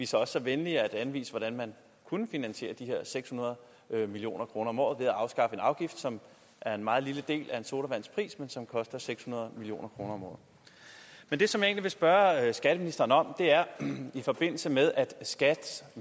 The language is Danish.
så også så venlige at anvise hvordan man kunne finansiere de her seks hundrede million kroner om året ved at afskaffe en afgift som er en meget lille del af en sodavands pris men som koster seks hundrede million kroner om året men det som jeg egentlig vil spørge skatteministeren om er i forbindelse med at skats